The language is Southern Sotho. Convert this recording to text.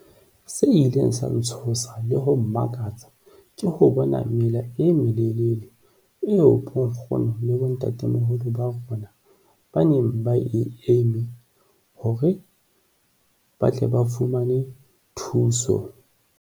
Se ileng sa ntshosa le ho mmakatsa ke ho bona mela e melelele eo bonkgono le bontatemoholo ba rona ba neng ba e eme hore ba tle ba fumane thuso.